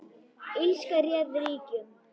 Illska réð ríkjum.